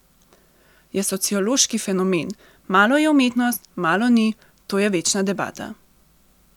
Je sociološki fenomen, malo je umetnost, malo ni, to je večna debata.